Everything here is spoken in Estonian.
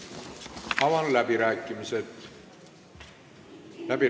Avan läbirääkimised.